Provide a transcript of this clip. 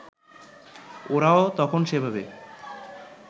ওরাও তখন সেভাবে